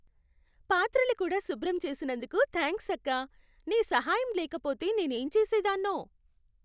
పాత్రలు కూడా శుభ్రం చేసినందుకు థ్యాంక్స్ అక్కా. నీ సహాయం లేకపోతే నేనేం చేసేదాన్నో.